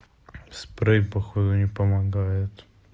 спрей походу не помогает